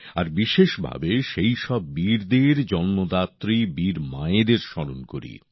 আর বিশেষভাবে সেইসব বীরদের জন্মদাত্রী বীর মায়েদের স্মরণ করি